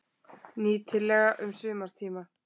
Ný tillaga um sumartíma.